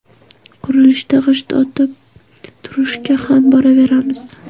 Qurilishda g‘isht otib turishga ham boraveramiz.